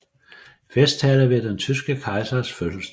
Festtale ved den tyske kejsers fødselsdag